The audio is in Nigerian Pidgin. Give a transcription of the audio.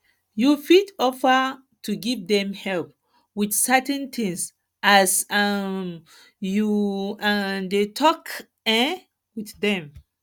you fit offer to give them help with certain things as um you um dey talk um with them